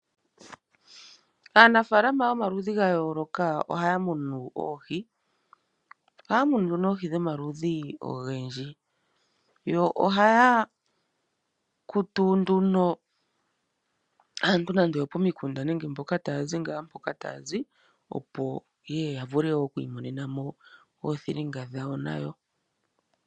Aanafaalama yomaludhi ga yooloka ohaya munu oohi. Ohaa munu nee oohi dhomaludhi ogendji. Yo ohaya kutu nduno aantu nando oyopomikunda nenge ye ngaa mpoka taya zi, opo ye ye ya vule oku imonena mo oothilinga dhawo nayo.